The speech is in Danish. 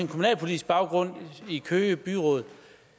kommunalpolitisk baggrund i køge byråd